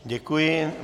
Děkuji.